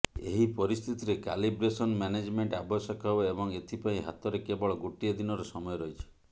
ଏହି ପରିସ୍ଥିତିରେ calibration management ଆବଶ୍ୟକ ହେବ ଏବଂ ଏଥିପାଇଁ ହାତରେ କେବଳ ଗୋଟିଏ ଦିନର ସମୟ ରହିଛି